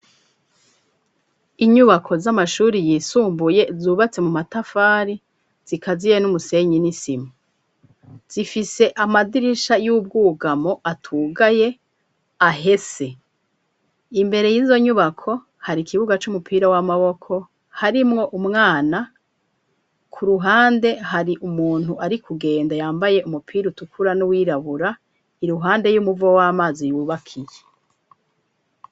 Inyubako z'amashuri yisumbuye zubatse mu matafari zikaziye n'umusenyi n'isima. Zifise amadirisha y'ubwugamo atugaye ahese. Imbere y'izo nyubako hari ikibuga c'umupira w'amaboko harimwo umwana, ku ruhande hari umuntu ari kugenda yambaye umupira utukura n'uwirabura, iruhande y'umuvo w'amazi yubaka iye.